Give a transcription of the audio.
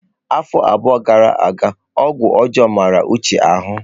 Afọ abụọ gara aga ọgwụ ọjọọ mara Uche ahụ.